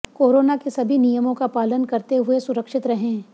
corona के सभी नियमों का पालन करते हुए सुरक्षित रहें